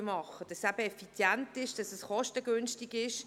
Es muss effizient und kostengünstig sein.